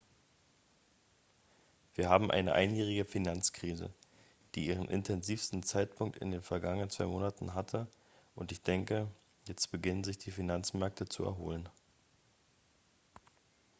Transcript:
"""wir haben eine einjährige finanzkrise die ihren intensivsten zeitpunkt in den vergangenen zwei monaten hatte und ich denke jetzt beginnen sich die finanzmärkte zu erholen.""